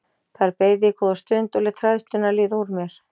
Þar beið ég góða stund og lét hræðsluna líða úr mér.